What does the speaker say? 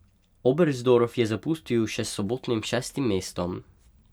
Oberstdorf je zapustil še s sobotnim šestim mestom.